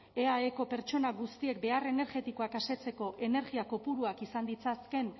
eaeko pertsona guztiek behar energetikoak asetzeko energia kopuruak izan ditzaken